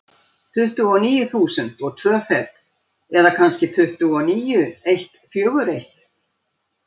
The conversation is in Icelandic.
Tuttugu og níu þúsund og tvö fet, eða kannski tuttugu og níu eitt fjögur eitt.